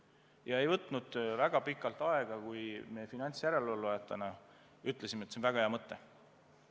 Ja ei võtnud väga pikalt aega, kui meie finantsjärelevalvajatena ütlesime, et see on väga hea mõte.